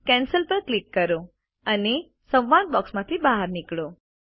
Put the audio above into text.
cancel પર click કરો અને સંવાદ બોક્સમાંથી બહાર નીકળો